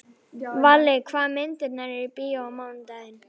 Valli, hvaða myndir eru í bíó á mánudaginn?